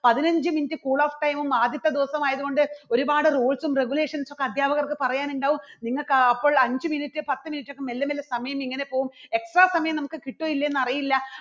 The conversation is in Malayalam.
പതിനഞ്ച് minute cool of time ഉം ആദ്യത്തെ ദിവസം ആയതുകൊണ്ട് ഒരുപാട് rules ഉം regulations ഉം ഒക്കെ അധ്യാപകർക്ക് പറയാനുണ്ടാകും നിങ്ങൾക്ക് അപ്പോൾ അഞ്ച് minute പത്ത് minute ഒക്കെ മെല്ലെ മെല്ലെ സമയം ഇങ്ങനെ പോകും extra സമയം നമുക്ക് കിട്ടുവോ ഇല്ലയോ എന്ന് അറിയില്ല.